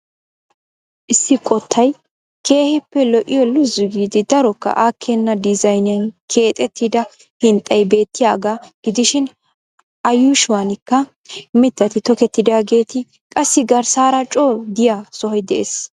Issi qottay keehiippe lo'iyo luzzu giidi darokka aakena diizayniyan keexettida hinxxay beettiyaaga gidishiin a yuushuwanikka mittat toketidaageeti qassi garssaara coo diya sohoy dees.